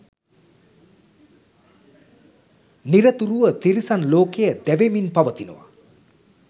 නිරතුරුව තිරිසන් ලෝකය දැවෙමින් පවතිනවා.